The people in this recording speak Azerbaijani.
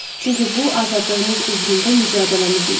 Çünki bu azadlığımız uğrunda mübarizəmiz idi.